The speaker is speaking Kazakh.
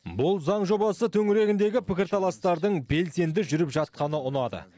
бұл заң жобасы төңірегіндегі пікірталастардың белсенді жүріп жатқаны ұнады